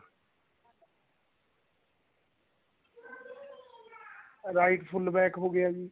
right full back ਹੋ ਗਿਆ ਜੀ